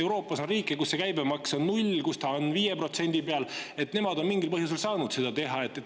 Euroopas on riike, kus see käibemaks on 0%, kus see on 5%, nemad on mingil põhjusel saanud seda teha.